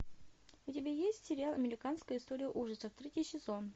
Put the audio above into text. у тебя есть сериал американская история ужасов третий сезон